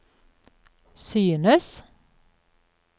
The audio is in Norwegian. synes